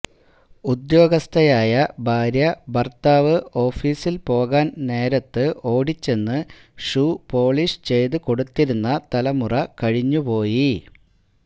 ഉദ്യോഗസ്ഥയായ ഭാര്യ ഭർത്താവ് ഓഫീസിൽ പോകാൻ നേരത്ത് ഓടിച്ചെന്ന് ഷൂ പോളീഷ് ചെയ്ത് കൊടുത്തിരുന്ന തലമുറ കഴിഞ്ഞു പോയി